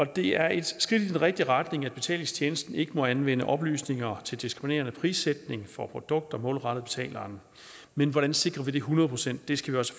det er et skridt i den rigtige retning at betalingstjenesten ikke må anvende oplysninger til diskriminerende prissætning for produkter målrettet betaleren men hvordan sikrer vi det hundrede procent det skal vi også